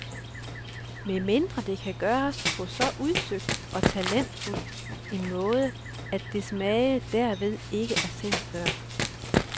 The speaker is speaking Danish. Medmindre det kan gøres på så udsøgt og talentfuld en måde, at dens mage derved ikke er set før.